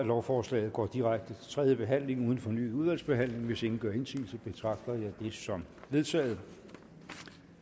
lovforslaget går direkte til tredje behandling uden fornyet udvalgsbehandling hvis ingen gør indsigelse betragter jeg det som vedtaget